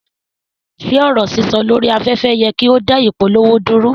Ṣe ọrọ sísọ lori afẹ́fẹ́ yẹ ki o da ìpolówó dúró?